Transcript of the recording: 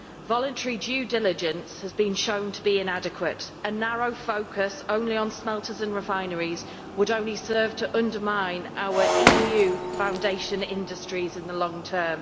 Voluntary due diligence has been shown to be inadequate, and a narrow focus only on smelters and refineries would only serve to undermine our EU foundation industries in the long term.